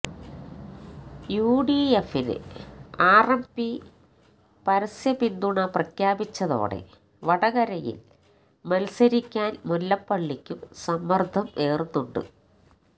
യുഡിഎഫിന് ആര്എംപി പരസ്യ പിന്തുണ പ്രഖ്യാപിച്ചതോടെ വടകരയില് മല്സരിക്കാന് മുല്ലപ്പള്ളിക്കും സമ്മര്ദ്ദം ഏറുന്നുണ്ട്